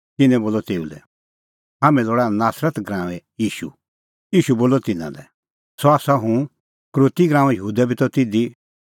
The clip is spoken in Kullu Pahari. तिन्नैं बोलअ तेऊ लै हाम्हैं लोल़ा नासरत नगरीए ईशू ईशू बोलअ तिन्नां लै सह आसा हुंह यहूदा इसकरोती बी त तिधी